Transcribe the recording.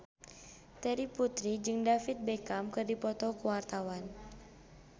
Terry Putri jeung David Beckham keur dipoto ku wartawan